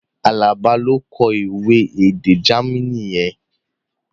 Alaba ló kọ ìwé èdè Jamaní yẹn